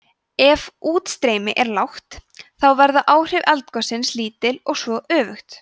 ef útstreymi er lágt þá verða áhrif eldgossins lítil og svo öfugt